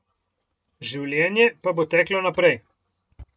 Življenje pa bo teklo naprej.